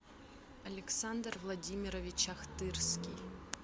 александр владимирович ахтырский